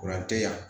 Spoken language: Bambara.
Kuran te yan